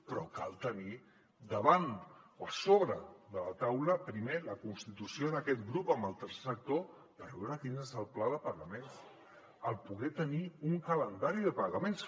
però cal tenir davant o a sobre de la taula primer la constitució d’aquest grup amb el tercer sector per veure quin és el pla de pagaments el poder tenir un calendari de pagaments